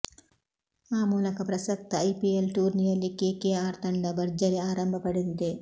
ಆ ಮೂಲಕ ಪ್ರಸಕ್ತ ಐಪಿಎಲ್ ಟೂರ್ನಿಯಲ್ಲಿ ಕೆಕೆಆರ್ ತಂಡ ಭರ್ಜರಿ ಆರಂಭ ಪಡೆದಿದೆ